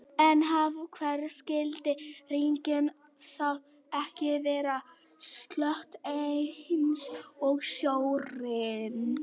En af hverju skyldi rigningin þá ekki vera sölt eins og sjórinn?